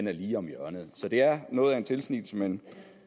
er lige om hjørnet så det er noget af en tilsnigelse men